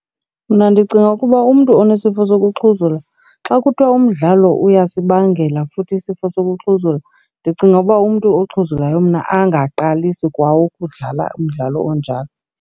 Mna ndicinga ukuba umntu onesifo sokuxhuzula xa kuthiwa umdlalo uyasibangela futhi isifo sokuxhuzula, ndicinga ukuba umntu oxhuzulayo mna angaqalisi kwa ukudlala umdlalo onjalo.